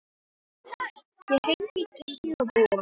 Ég hringdi í Gígju og Búa.